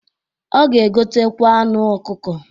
Ọ ga-egotekwa anụ ọkụkọ.